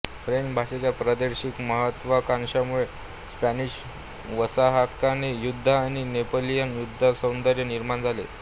French भाषेच्या प्रादेशिक महत्त्वाकांक्षांमुळे स्पॅनिश वारसाहक्काने युद्ध आणि नेपोलियन युद्धसौंदर्य निर्माण झाले